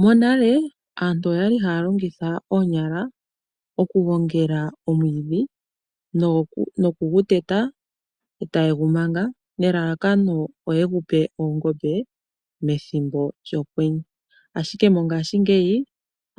Monale aantu oyali haya longitha oonyala okugongela omwiidhi nokuguteta e taye gu manga nelalakano opo ye gupe oongombe methimbo lyokwenye ashike mongaashingeyi